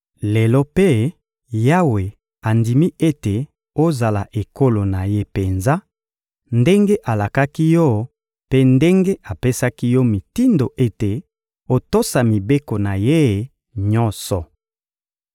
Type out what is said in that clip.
Lelo mpe, Yawe andimi ete ozala ekolo na Ye penza, ndenge alakaki yo mpe ndenge apesaki yo mitindo ete otosa mibeko na Ye nyonso.